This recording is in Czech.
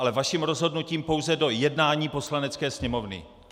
Ale vaším rozhodnutím pouze do jednání Poslanecké sněmovny.